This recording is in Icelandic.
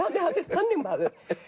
þannig maður